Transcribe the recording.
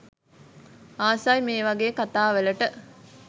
ආසයි මේ වගේ කතා වලට